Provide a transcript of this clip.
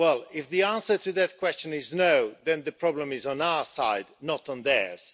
If the answer to that question is no', then the problem is on our side, not on theirs.